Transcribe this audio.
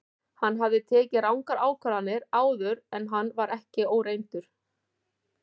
Hann hafði tekið rangar ákvarðanir áður en hann var ekki óreyndur.